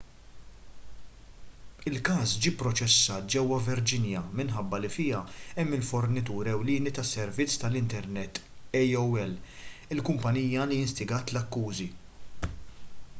il-każ ġie pproċessat ġewwa virginia minħabba li fiha hemm il-fornitur ewlieni tas-servizz tal-internet aol il-kumpanija li instigat l-akkużi